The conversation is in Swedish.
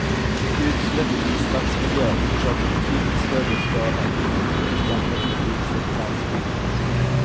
Ett utsläpp i stadsmiljö orsakar betydligt större skada på människor jämfört med ett utsläpp i landsbygden.